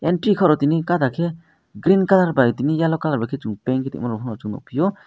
entry khoro tini gadarkhe green colour bai tini yellow colour bai chong paint khe tongmarok chong nukphio.